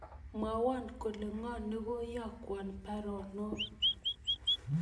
Mwowon kole ngo negaiyokwon baruonok